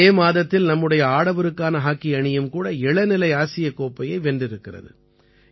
இதே மாதத்தில் நம்முடைய ஆடவருக்கான ஹாக்கி அணியும் கூட இளநிலை ஆசியக் கோப்பையை வென்றிருக்கிறது